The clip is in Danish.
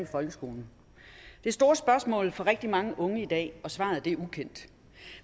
folkeskolen det er store spørgsmål for rigtig mange unge i dag og svaret er ukendt